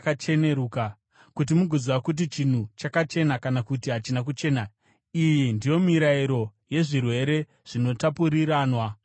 kuti mugoziva kuti chinhu chakachena kana kuti hachina kuchena. Iyi ndiyo mirayiro yezvirwere zvinotapuriranwa zvamaperembudzi.